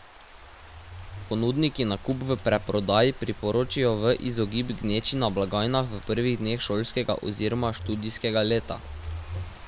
Ponudniki nakup v predprodaji priporočajo v izogib gneči na blagajnah v prvih dneh šolskega oziroma študijskega leta.